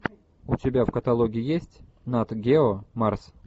у тебя в каталоге есть нат гео марс